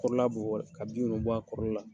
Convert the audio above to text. Kɔrɔla bɔ bɔ, ka bin ninnu bɔ a kɔrɔla la